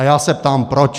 A já se ptám proč.